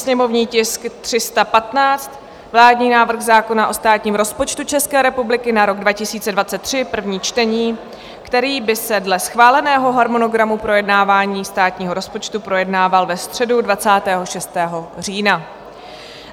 sněmovní tisk 315, vládní návrh zákona o státním rozpočtu České republiky na rok 2023, první čtení, který by se dle schváleného harmonogramu projednávání státního rozpočtu projednával ve středu 26. října.